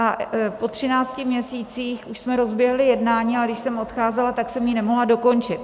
A po 13 měsících už jsme rozběhli jednání, ale když jsem odcházela, tak jsem ji nemohla dokončit.